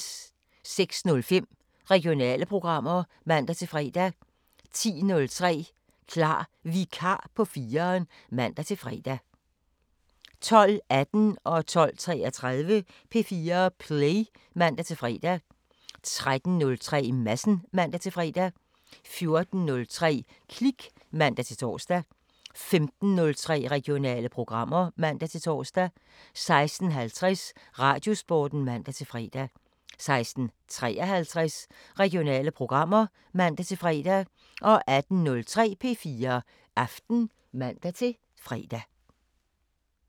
06:05: Regionale programmer (man-fre) 10:03: Klar Vikar på 4'eren (man-fre) 12:18: P4 Play (man-fre) 12:33: P4 Play (man-fre) 13:03: Madsen (man-fre) 14:03: Klik (man-tor) 15:03: Regionale programmer (man-tor) 16:50: Radiosporten (man-fre) 16:53: Regionale programmer (man-fre) 18:03: P4 Aften (man-fre)